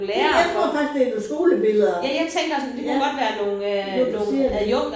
Gud jeg tror faktisk det er noget skolebilleder. Ja nu du siger det